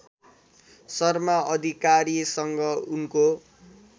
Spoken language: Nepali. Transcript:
शर्मा अधिकारीसँग उनको